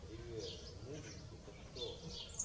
привет мувикс это что